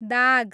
दाग